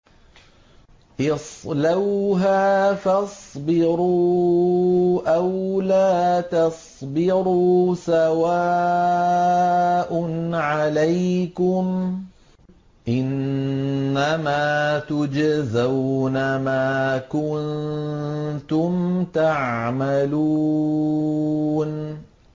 اصْلَوْهَا فَاصْبِرُوا أَوْ لَا تَصْبِرُوا سَوَاءٌ عَلَيْكُمْ ۖ إِنَّمَا تُجْزَوْنَ مَا كُنتُمْ تَعْمَلُونَ